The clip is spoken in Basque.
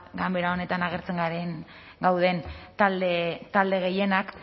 ganbera honetan gauden talde gehienak